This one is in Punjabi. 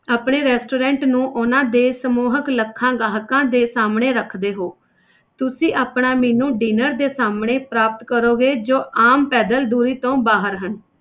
ਆਪਣੇ restaurant ਨੂੰ ਉਹਨਾਂ ਦੇ ਸਮੂਹਕ ਲੱਖਾਂ ਗਾਹਕਾਂ ਦੇ ਸਾਹਮਣੇ ਰੱਖਦੇ ਹੋ ਤੁਸੀਂ ਆਪਣਾ menu dinner ਦੇ ਸਾਹਮਣੇ ਪ੍ਰਾਪਤ ਕਰੋਗੇ ਜੋ ਆਮ ਪੈਦਲ ਦੂਰੀ ਤੋਂ ਬਾਹਰ ਹਨ।